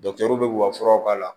bɛ ka furaw k'a la